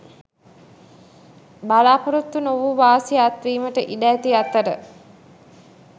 බලා‍පොරොත්තු නොවූ වාසි අත්වීමට ඉඩ ඇති අතර